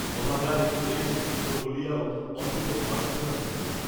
অভাগার এই শেষ চিহ্ন বলিয়াও অন্ততঃ মার্জ্জনা করিও।